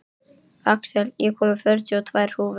Axel, ég kom með fjörutíu og tvær húfur!